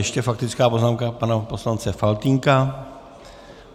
Ještě faktická poznámka pana poslance Faltýnka.